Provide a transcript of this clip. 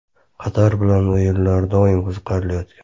Qatar bilan o‘yinlar doim qiziqarli o‘tgan.